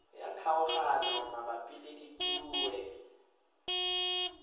ya kgaoganyo mabapi le ditue